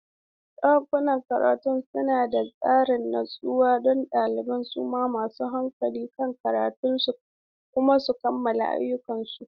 Ɗakunan karatun suna ba da sarari natsuwa don ɗalibai su mai da hankali kan karatunsu kuma su kammala ayyukansu.